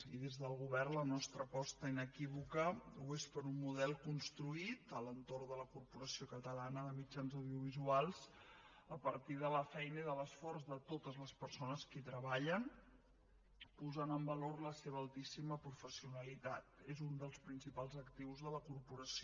i des del govern la nostra aposta inequívoca ho és per un model construït a l’entorn de la corporació catalana de mitjans audiovisuals a partir de la feina i de l’esforç de totes les persones que hi treballen posant en valor la seva altíssima professionalitat és un dels principals actius de la corporació